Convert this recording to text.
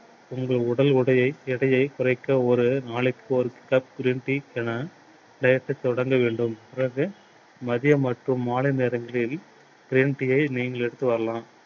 உங்கள் உடல் உடையை~எடையை குறைக்க ஒரு நாளைக்கு ஒரு cup green tea என எடுக்க தொடங்க வேண்டும். பின் மதியம் மற்றும் மாலை நேரங்களில் green tea யை நீங்கள் எடுத்து வரலாம்.